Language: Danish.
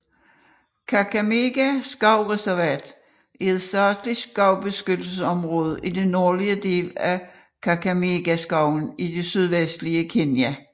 Kakamega skovsreservat er et statsligt skovbeskyttelsesområde i den nordlige del af Kakamegaskoven i det vestlige Kenya